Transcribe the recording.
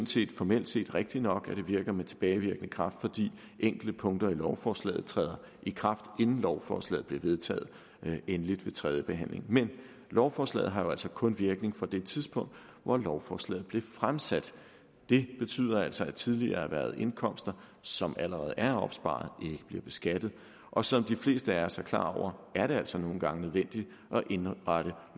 set formelt set rigtigt nok at det virker med tilbagevirkende kraft fordi enkelte punkter i lovforslaget træder i kraft inden lovforslaget bliver vedtaget endeligt ved tredjebehandlingen men lovforslaget har jo altså kun virkning fra det tidspunkt hvor lovforslaget blev fremsat det betyder altså at tidligere erhvervede indkomster som allerede er opsparet ikke bliver beskattet og som de fleste af os er klar over er det altså nogle gange nødvendigt at indrette